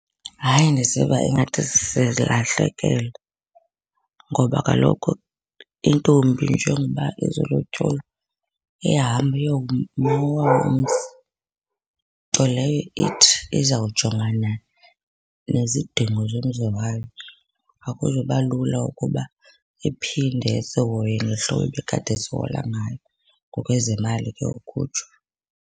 Hayi, ndiziva ingathi silahlekelwe ngoba kaloku intombi njengoba ezolotyolwa, ihamba eyoba nowayo umzi. Nto leyo ithi izawujongana nezidingo zomzi wayo. Akuzuba lula ukuba iphinde isihoye ngehlobo ibikade isihoya ngayo, ngokwezemali ke ukutsho.